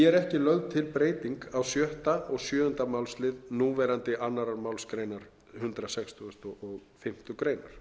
er ekki lögð til breyting á sjötta og sjöunda málslið núverandi annarri málsgrein hundrað sextugasta og fimmtu grein